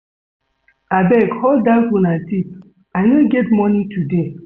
Abeg hold dat una tithe I no get money today